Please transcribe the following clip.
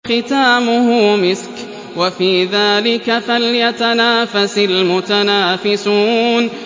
خِتَامُهُ مِسْكٌ ۚ وَفِي ذَٰلِكَ فَلْيَتَنَافَسِ الْمُتَنَافِسُونَ